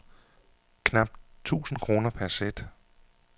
Knapt tusind kroner per sæt.